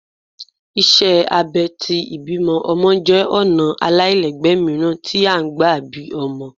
Iṣẹ abẹ̀ tí ibí ọmọ jẹ ọna alailẹgbẹ miiran ti a ń fí bí ómọ